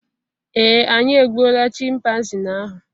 ee, anyị egbuola Chịmpaizịn ahụ